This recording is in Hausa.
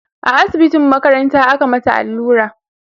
a asibitin makaranta aka mata allura